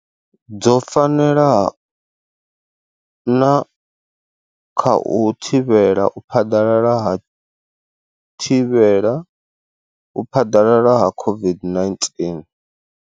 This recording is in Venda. Dzo fanela na kha u thivhela u phaḓalala ha u thivhela u phaḓalala ha COVID-19.